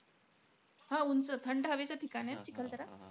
हा उंच थंड हवेचं ठिकाण आहे चिखलदरा.